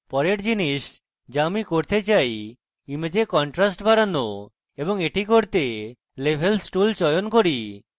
পরের জিনিস the আমি করতে চাই image contrast বাড়ানো এবং the করতে আমি levels tool চয়ন করি